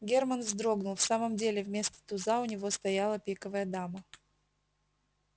германн вздрогнул в самом деле вместо туза у него стояла пиковая дама